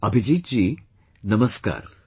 Abhijeet ji, Namaskar